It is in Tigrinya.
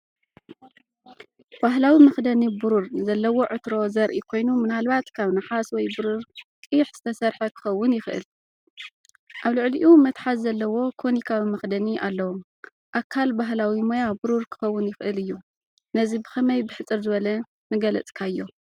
ባህላዊ መኽደኒ ብሩር ዘለዎ ዕትሮ ዘርኢ ኮይኑ፡ ምናልባት ካብ ነሓስ ወይ ብሩር ቅይሕ ዝተሰርሐ ክኸውን ይኽእል። ኣብ ልዕሊኡ መትሓዚ ዘለዎ ኮኒካዊ መኽደኒ ኣለዎ። ኣካል ባህላዊ ሞያ ብሩር ክኸውን ይኽእል እዩ። ነዚ ብኸመይ ብሕጽር ዝበለ ምገለጽካዮ፧